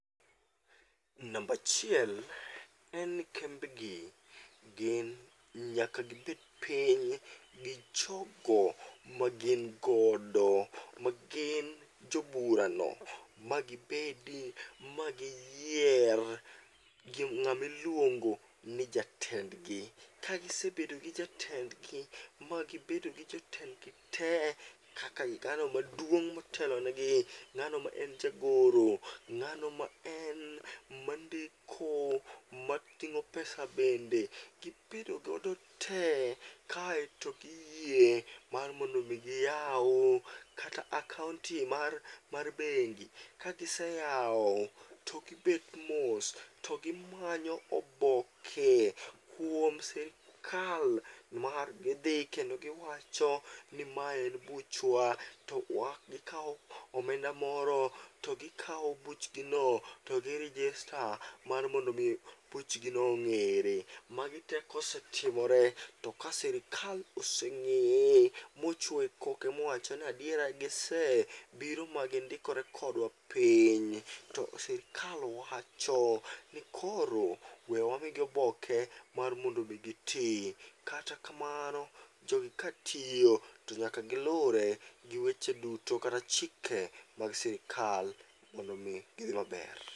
Nambachiel en ni kembe gi, gin nyaka gibed piny gi jogo magin godo, magin joburano. Magibedi magiyier ng'amiluongo ni jatendgi. Kasibedo gi jatendgi, magibedo gi jotendgi te, kaka ng'ano maduong' motelonegi. Ng'ano ma en jagoro, ng'ano ma en mandiko mating'o pesa bende gibedo godo tee, kaeto giyie mar mondo mi giywa kata akaonti mar bengi. Ka giseyawo, to gimanyo oboke kuom sirikal nimar gidhi kendo giwacho ni mae en buchwa. To wa gikawo omenda moro, to gikawo buchgi no to gi register mar mondo mi buchgino ong'ere. Magi te kosetimore, to ka sirikal oseng'eye, mochuoye koke mowacho nadiera gise biro ma gindikore kodwa piny. To sirikal wacho ni koro we wamigi oboke mar mondo mi giti kata kamano jogi katiyo, to nyaka gilure gi weche duto kata chike mag sirikal mondo mi gidhi maber.